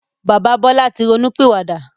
Bàbá Bọlá tí ronú pìwà dà.